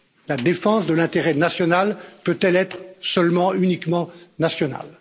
La défense de l'intérêt national peut elle être seulement, uniquement, nationale.